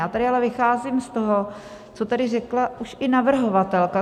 Já tady ale vycházím z toho, co tady řekla už i navrhovatelka.